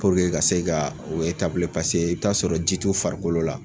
Puruke ka se ka o otabule paseke e be t'a sɔrɔ ji t'u farikolo la